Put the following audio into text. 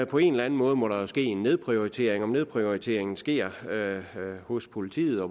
på en eller anden måde må der jo ske en nedprioritering at nedprioriteringen sker hos politiet